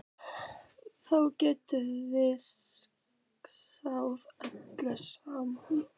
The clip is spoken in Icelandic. Þá getum við skálað öll saman.